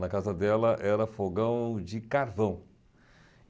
Na casa dela, era fogão de carvão.